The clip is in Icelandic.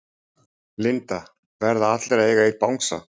Linda: Verða allir að eiga einn bangsa?